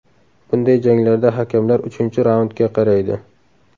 Bunday janglarda hakamlar uchinchi raundga qaraydi.